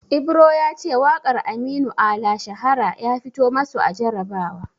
Ibro ya ce waƙar Aminu Ala "Shahara" ya fito masu a jarabawa.